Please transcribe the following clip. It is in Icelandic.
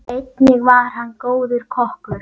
Einnig var hann góður kokkur.